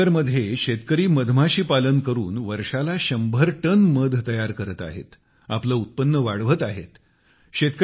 यमुना नगरमध्ये शेतकरी मधमाशी पालन करून वर्षाला शंभर टन मध तयार करत आहेत आपले उत्पन्न वाढवत आहेत